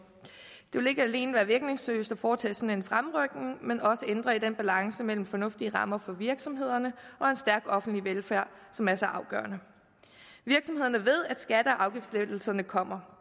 det vil ikke alene være virkningsløst at foretage sådan en fremrykning men også ændre i den balance mellem fornuftige rammer for virksomhederne og en stærk offentlig velfærd som er så afgørende virksomhederne ved at skatte og afgiftslettelserne kommer